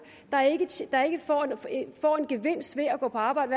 der ikke får en gevinst ved at gå på arbejde